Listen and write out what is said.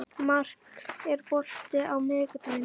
Mark, er bolti á miðvikudaginn?